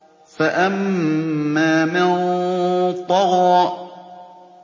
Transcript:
فَأَمَّا مَن طَغَىٰ